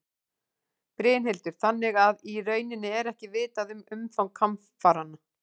Brynhildur: Þannig að í rauninni er ekki vitað um umfang hamfaranna?